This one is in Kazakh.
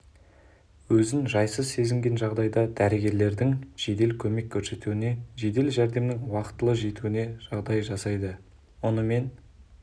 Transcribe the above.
өзін жайсыз сезінген жағдайда дәрігерлердің жедел көмек көрсетуіне жедел жәрдемнің уақытылы жетуіне жағдай жасайды мұнымен